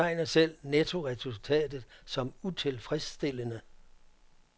De betegner selv nettoresultatet som utilfredsstillende.